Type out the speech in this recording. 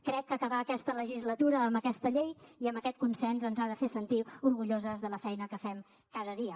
crec que acabar aquesta legislatura amb aquesta llei i amb aquest consens ens ha de fer sentir orgulloses de la feina que fem cada dia